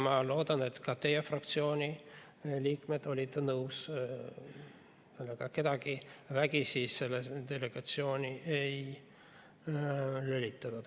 Ma loodan, et ka teie fraktsiooni liikmed olid nõus ja kedagi vägisi sellesse delegatsiooni ei lülitatud.